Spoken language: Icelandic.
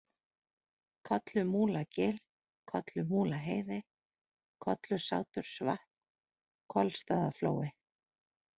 Kollumúlagil, Kollumúlaheiði, Kollusátursvatn, Kolstaðaflói